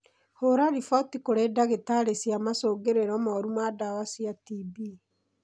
Hũra riboti kũrĩ ndagĩtarĩ cia macungĩrĩro moru ma ndawa cia TB.